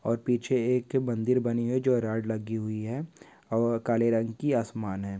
और पीछे एक मंदिर बनी हुई है जो रोड लगी हुई है और काले रंग की आसमान है|